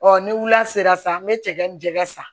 Ɔ ni wula sera san be cɛ ni jɛgɛ san